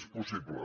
és possible